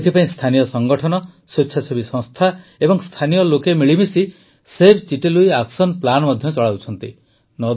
ଏଥିପାଇଁ ସ୍ଥାନୀୟ ସଂଗଠନ ସ୍ୱେଚ୍ଛାସେବୀ ସଂସ୍ଥା ଓ ସ୍ଥାନୀୟ ଲୋକେ ମିିଳିମିଶି ସେଭ୍ ଚିଟେ ଲୁଇ ଆକ୍ସନ ପ୍ଲାନ୍ ମଧ୍ୟ ଚଳାଉଛନ୍ତି